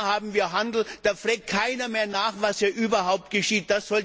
Und mit China treiben wir Handel, da fragt keiner mehr nach, was dort überhaupt geschieht.